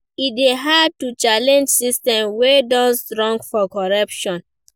E dey hard to change system wey don strong for corruption.